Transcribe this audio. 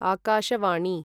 आकाशवाणी